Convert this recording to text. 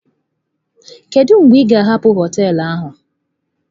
Kedu mgbe ị ga-hapụ hoteelu a?